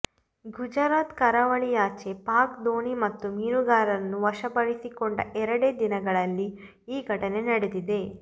ಗುಜರಾತ್ ಕರಾವಳಿಯಾಚೆ ಪಾಕ್ ದೋಣಿ ಮತ್ತು ಮೀನುಗಾರರನ್ನು ವಶಪಡಿಸಿಕೊಂಡ ಎರಡೇ ದಿನಗಳಲ್ಲಿ ಈ ಘಟನೆ ನಡೆದಿದೆ